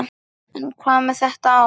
En hvað með þetta ár?